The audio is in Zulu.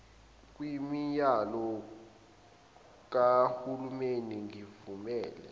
kwiminyano kahulimeni ngivumele